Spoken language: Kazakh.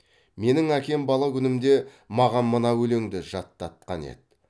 менің әкем бала күнімде маған мына өлеңді жататқан еді